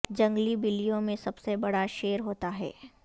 جنگلی بلیوں میں سب سے بڑا شیر ہوتا ہے